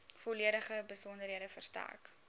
volledige besonderhede verstrek